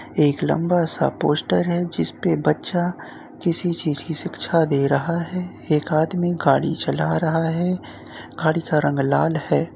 एक लंबा सा पोस्टर है। जिसपे बच्चा किसी चीज की शिक्षा दे रहा है। एक आदमी गाड़ी चला रहा है। गाड़ी का रंग लाल है ।